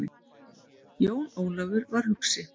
Jón Ólafur var hugsi.